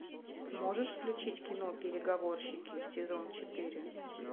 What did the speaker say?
можешь включить кино переговорщики сезон четыре